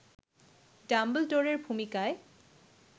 ডাম্বলডোরের ভূমিকায়